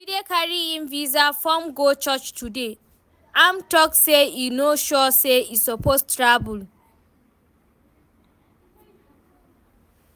Jide carry im visa form go church today, im talk say e no sure say e suppose travel